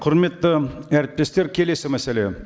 құрметті әріптестер келесі мәселе